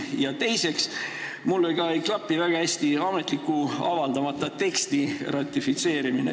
Ja teiseks, mulle ka ei klapi väga hästi ametlikult avaldamata teksti ratifitseerimine.